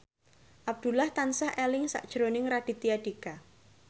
Abdullah tansah eling sakjroning Raditya Dika